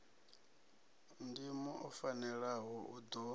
ndimo o fanelaho u ḓo